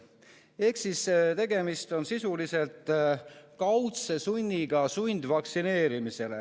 Ehk tegemist on sisuliselt kaudse sunniga vaktsineerida.